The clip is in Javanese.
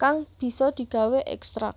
kang bisa digawé ékstrak